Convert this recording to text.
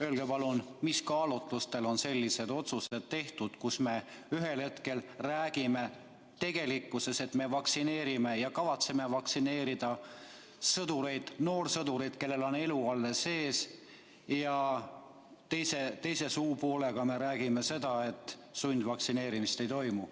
Öelge palun, mis kaalutlustel on sellised otsused tehtud, kus me ühel hetkel räägime, et me kavatseme vaktsineerida sõdureid, noorsõdureid, kellel on elu alles ees, ja teise suupoolega räägime seda, et sundvaktsineerimist ei toimu.